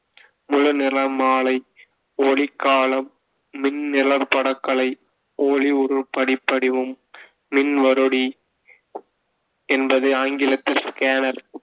முழு நிறமாலை, ஒளிக் காலம், மின்நிழற்படக்கலை, ஒளி உருப்படிபடிமம், மின்வருடி என்பது ஆங்கிலத்தில் scanner